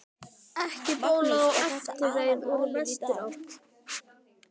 Ekki bólaði á eftirreið úr vesturátt.